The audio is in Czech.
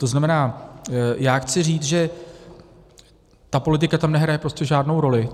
To znamená, já chci říct, že ta politika tam nehraje prostě žádnou roli.